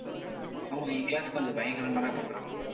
ஆமா என் class கொஞ்சம் பயங்கரமாதான் பண்றாங்க.